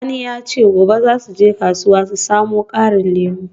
Sani ya ce gobe za su je kasuwa su samu karin lemu.